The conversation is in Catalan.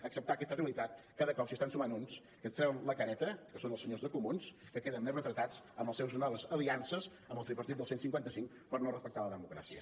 acceptar aquesta realitat cada cop s’hi estan sumant uns que es treuen la careta que són els senyors de comuns que queden més retratats amb les seves noves aliances amb el tripartit del cent i cinquanta cinc per no respectar la democràcia